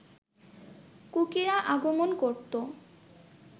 কুকিরা আগমন করত